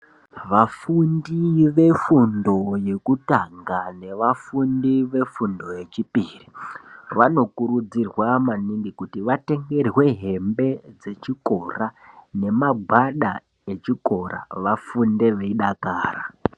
Vafundi vefundo yekutanga nevafundi vefundo yechipiri vanokurudzirwa maningi kuti vatengerwe hembe dzechikora nemagwada echikora kuti vafunde veidakara.